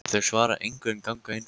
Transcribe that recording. Þau svara engu en ganga inn fyrir.